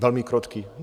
Velmi krotký.